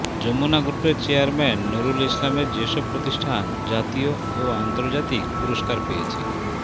যমুনা গ্রুপের চেয়ারম্যান নুরুল ইসলামের যেসব প্রতিষ্ঠান জাতীয় ও আন্তর্জাতিক পুরস্কার পেয়েছে